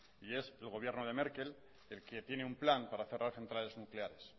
y es el gobierno de merkel el que tiene un plan para cerrar centrales nucleares